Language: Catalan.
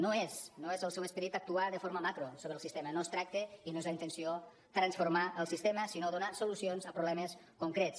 no és no és el seu esperit actuar de forma macro sobre el sistema no es tracta i no és la intenció transformar el sistema sinó donar solucions a problemes concrets